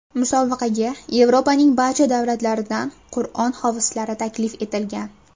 Musobaqaga Yevropaning barcha davlatlaridan Qur’on hofizlari taklif etilgan.